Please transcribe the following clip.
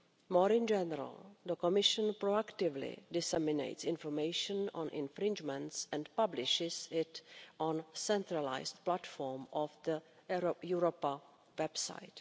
More generally, the Commission proactively disseminates information on infringements and publishes it on the centralised platform of the Europa website.